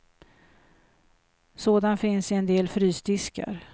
Sådan finns i en del frysdiskar.